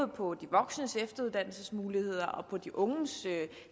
på de voksnes efteruddannelsesmuligheder og på de unges